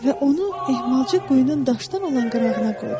Və onu ehmalca quyunun daşdan olan qırağına qoydum.